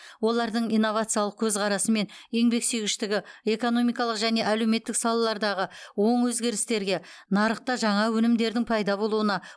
олардың инновациялық көзқарасы мен еңбексүйгіштігі экономикалық және әлеуметтік салалардағы оң өзгерістерге нарықта жаңа өнімдердің пайда болуына